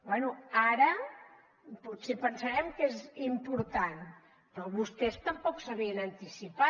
bé ara potser pensarem que és important però vostès tampoc s’havien anticipat